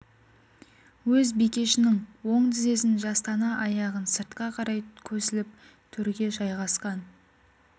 өз бикешінің оң тізесін жастана аяғын сыртқа қарай көсіліп төрге жайғасқан